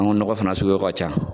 An ga nɔgɔ fana suguyaw ka ca